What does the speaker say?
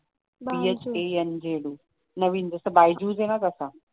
नवीन जसं byju's आहे ना ग